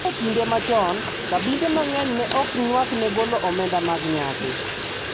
Gi e kinde machon, kabinde mang`eny ne ok nywak ne golo omenda mag nyasi.